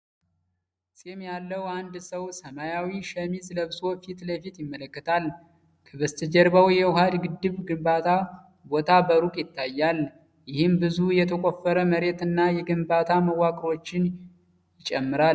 ፂም ያለው አንድ ሰው ሰማያዊ ሸሚዝ ለብሶ ፊት ለፊት ይመለከታል። ከበስተጀርባው የውሃ ግድብ ግንባታ ቦታ በሩቅ ይታያል፤ ይህም ብዙ የተቆፈረ መሬት እና የግንባታ መዋቅሮችን ይጨምራል።